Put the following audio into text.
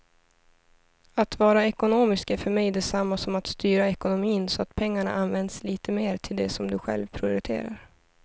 Att vara ekonomisk är för mig detsamma som att styra ekonomin så att pengarna används lite mer till det som du själv prioriterar.